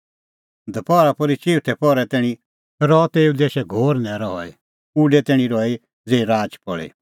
दपहरा पोर्ही चिऊथै पहरै तैणीं रहअ तेऊ देशै घोर न्हैरअ हई और उडै तैणीं रही ज़ेही राच पल़ी